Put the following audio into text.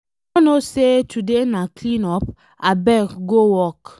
You no know say today na clean up, abeg go work.